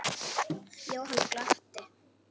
Jóhann glotti.